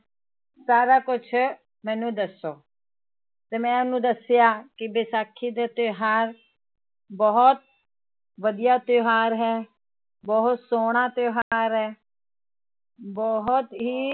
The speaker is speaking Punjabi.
ਸਾਰਾ ਕੁਛ ਮੈਨੂੰ ਦੱਸੋ ਤੇ ਮੈਂ ਉਹਨੂੰ ਦੱਸਿਆ ਕਿ ਵਿਸਾਖੀ ਦਾ ਤਿਉਹਾਰ ਬਹੁਤ ਵਧੀਆ ਤਿਉਹਾਰ ਹੈ, ਬਹੁਤ ਸੋਹਣਾ ਤਿਉਹਾਰ ਹੈ ਬਹੁਤ ਹੀ